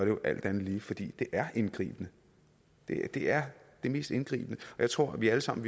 jo alt andet lige fordi det er indgribende det er det mest indgribende jeg tror vi alle sammen